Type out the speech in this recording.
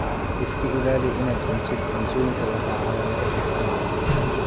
Iska ilaali inaad cuntid cuntooyinka lahaa calaamadaha kharriban.